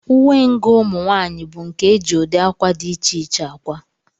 Uwengụ ụmụnwaanyị bụ nke e ji ụdị akwa dị iche iche akwa